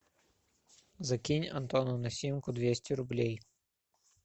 закинь антону на симку двести рублей